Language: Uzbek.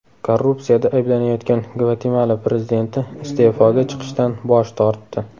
Korrupsiyada ayblanayotgan Gvatemala prezidenti iste’foga chiqishdan bosh tortdi.